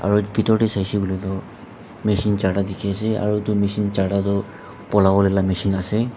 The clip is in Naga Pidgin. oit pithor teh sai se koile tu machine charta dikhi ase aru etu machine charta tu polabo lah machine ase.